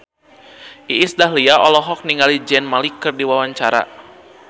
Iis Dahlia olohok ningali Zayn Malik keur diwawancara